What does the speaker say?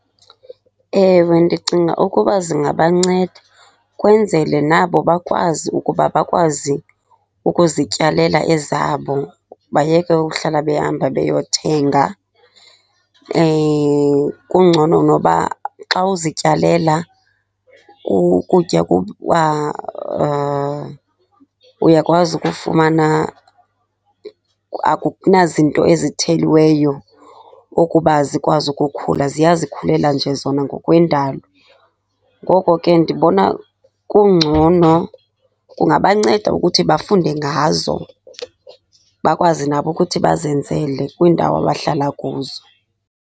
Ewe, ndicinga ukuba zingabanceda, kwenzele nabo bakwazi ukuba bakwazi ukuzityalela ezabo bayeke uhlala behamba beyothenga. Kungcono noba xa uzityalela ukutya uyakwazi ukufumana, akunazinto ezitheliweyo ukuba zikwazi ukukhula, ziyazikhulela nje zona ngokwendalo. Ngoko ke ndibona kungcono. Kungabanceda ukuthi bafunde ngazo, bakwazi nabo ukuthi bazenzele kwiindawo abahlala kuzo.